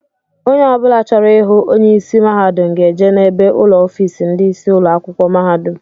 Ónyé ọbula chọrọ ịhụ onye ịsị mahadum ga-eje n'ebe ụlọ ọfiisi ndị isi ụlọ akwụkwọ mahadum.